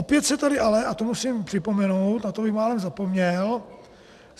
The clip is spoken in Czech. Opět se tady ale - a to musím připomenout, na to bych málem zapomněl.